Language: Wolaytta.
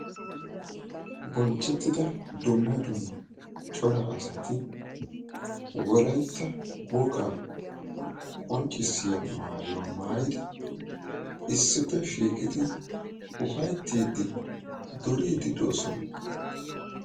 Bonchchettidda dumma dumma cora asatti wolaytta wogaa qonccissiya maayuwa maayiddi ufayttidinne duriddi de'osonna.